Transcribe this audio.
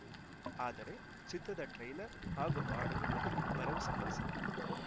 ಆದರೆ ಚಿತ್ರದ ಟ್ರೇಲರ್‌ ಹಾಗೂ ಹಾಡುಗಳು ಭರವಸೆ ಮೂಡಿಸಿದೆ